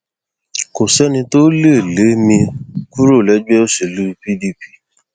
kò sẹni tó lè lé mi kúrò lẹgbẹ òṣèlú pdp